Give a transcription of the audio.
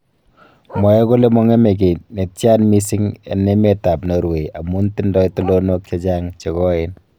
Mwoe kole mong'eme ki netyan missing en emetab Norway amun tindo tulonok chechang chekoeen.